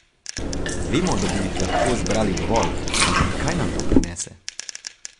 Vemo, da bi jih lahko zbrali dovolj, ampak kaj nam to prinese?